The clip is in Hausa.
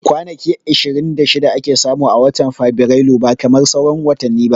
Kwanaki ishirin da shida ake samu a watan fabirailu ba kamar sauran watani ba